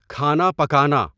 کھانا پکانا